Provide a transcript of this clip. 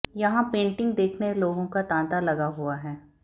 यहां पेंटिंग देखने लोगों का तांता लगा हुआ है